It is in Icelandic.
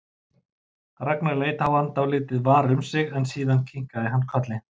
Ragnar leit á hann dálítið var um sig en síðan kinkaði hann kolli.